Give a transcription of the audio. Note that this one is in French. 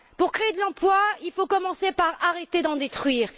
Pour créer de l'emploi, il faut commencer par arrêter d'en détruire.